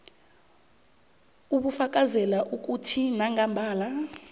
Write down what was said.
obufakazela ukuthi nangambala